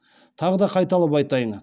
тағы да қайталап айтайын